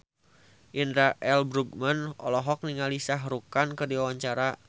Indra L. Bruggman olohok ningali Shah Rukh Khan keur diwawancara